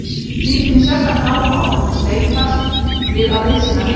Hann sýndi mér sérstakan áhuga og virtist leitast við að liðsinna mér.